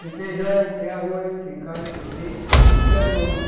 Tem feijão, tem arroz, tem carne, tem peixe